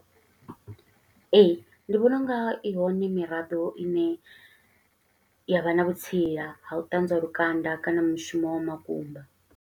Ee, ndi vhona unga i hone miraḓo i ne ya vha na vhutsila ha u ṱanzwa lukanda, kana mushumo wa makumba.